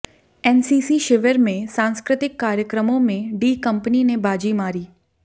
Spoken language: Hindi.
एनसीसी शिविर में सांस्कृतिक कार्यक्रमों में डी कंपनी ने बाजी मारी